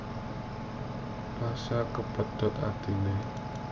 Pasha kepedhot atine